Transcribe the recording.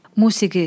Musiqi.